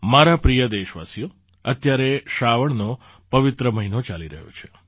મારા પ્રિય દેશવાસીઓ અત્યારે શ્રાવણનો પવિત્ર મહિનો ચાલી રહ્યો છે